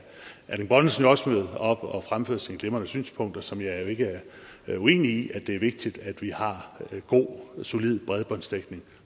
erling bonnesen jo også møde op og fremføre sine glimrende synspunkter som jeg ikke er uenig i nemlig at det er vigtigt at vi har god solid bredbåndsdækning